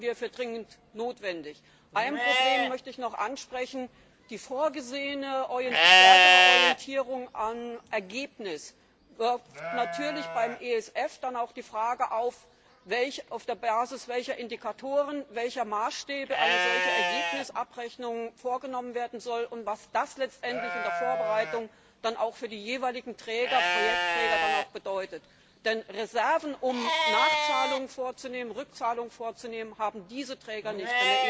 Das halten wir für dringend notwendig. Ein Problem möchte ich noch ansprechen Die vorgesehene stärkere Orientierung am Ergebnis wirft natürlich auch beim ESF die Frage auf, auf der Basis welcher Indikatoren, welcher Maßstäbe eine solche Ergebnisabrechnung vorgenommen werden soll, und was das letztendlich in der Vorbereitung dann auch für die jeweiligen Projektträger bedeutet. Denn Reserven, um Nachzahlungen vorzunehmen, Rückzahlungen vorzunehmen, haben diese Träger nicht.